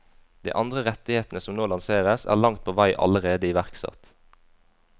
De andre rettighetene som nå lanseres, er langt på vei allerede iverksatt.